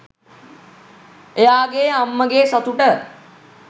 එයාගේ අම්මගේ සතුට